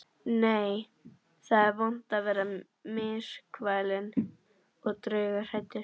Nei, það er vont að vera myrkfælinn og draughræddur.